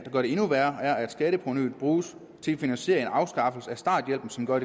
gør det endnu værre er at skatteprovenuet bruges til at finansiere en afskaffelse af starthjælpen som gør